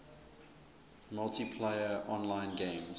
multiplayer online games